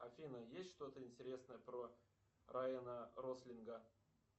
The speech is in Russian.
афина есть что то интересное про райана рослинга